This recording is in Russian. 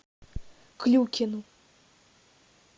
клюкину